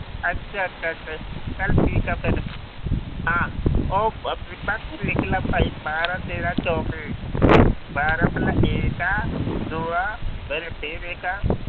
ਅੱਛਾ ਅੱਛਾ ਅੱਛਾ ਚੱਲ ਠੀਕ ਆ ਫਿਰ, ਹਾਂ ਉਹ ਬੀਬਾ ਤੂੰ ਲਿਖ ਲਾ ਭਾਈ ਬਾਰਾਂ ਤੇਰਾ ਚੌਵੀ, ਬਾਰਾਂ ਪਹਿਲਾਂ ਏਕਾ, ਦੂਆ ਫਿਰ ਫਿਰ ਏਕਾ